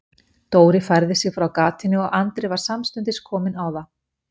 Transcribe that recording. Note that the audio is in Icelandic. Dóri færði sig frá gatinu og Andri var samstundis kominn á það.